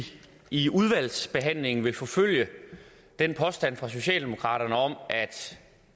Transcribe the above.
i udvalgsbehandlingen vil forfølge påstanden fra socialdemokraterne om